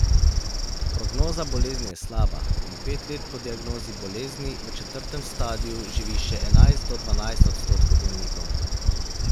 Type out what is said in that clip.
Prognoza bolezni je slaba in pet let po diagnozi bolezni v četrtem stadiju živi še enajst do dvanajst odstotkov bolnikov.